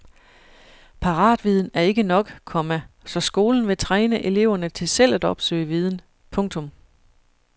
Paratviden er ikke nok, komma så skolen vil træne eleverne til selv at opsøge viden. punktum